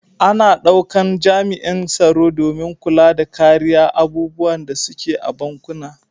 Ana daukan jami'an tsaro domin kulla da kariya abubuwan da su ke a bankuna.